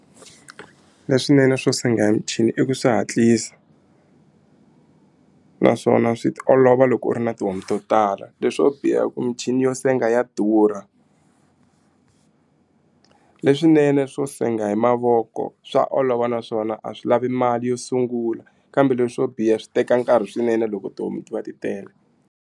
Leswinene swo senga hi michini i ku swi hatlisa naswona swi olova loko u ri na tihomu to tala leswo biha i ku michini yo senga ya durha leswinene swo senga hi mavoko swa olova naswona a swi lavi mali yo sungula kambe leswo biha swi teka nkarhi swinene loko tihomu ti va ti tele.